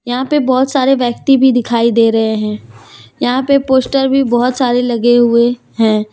यहाँ पे बहोत सारे व्यक्ति भी दिखाई दे रहे हैं यहाँ पे पोस्टर भी बहोत सारे लगे हुए हैं।